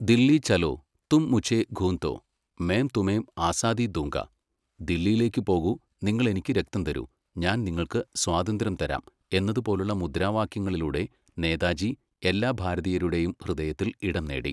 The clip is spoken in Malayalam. ദില്ലീ ചലോ, തും മുഝേ ഖൂൻ ദോ, മേം തുമേം ആസാദീ ദുംഗാ ദില്ലിയിലേക്കുപോകൂ, നിങ്ങളെനിക്കു രക്തം തരൂ, ഞാൻ നിങ്ങൾക്ക് സ്വാതന്ത്ര്യം തരാം എന്നതുപോലുള്ള മുദ്രാവാക്യങ്ങളിലൂടെ നേതാജി എല്ലാ ഭാരതീയരുടെയും ഹൃദയത്തിൽ ഇടം നേടി.